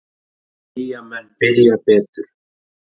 Eyjamenn byrja betur.